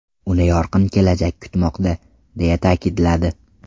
Uni yorqin kelajak kutmoqda!”, deya ta’kidladi.